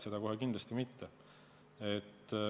Seda kohe kindlasti mitte.